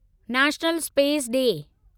national Space day